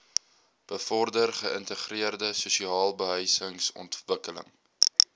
bevorder geïntegreerde sosialebehuisingsontwikkeling